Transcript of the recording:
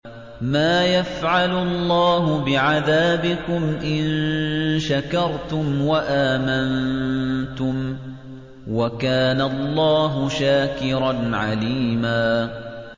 مَّا يَفْعَلُ اللَّهُ بِعَذَابِكُمْ إِن شَكَرْتُمْ وَآمَنتُمْ ۚ وَكَانَ اللَّهُ شَاكِرًا عَلِيمًا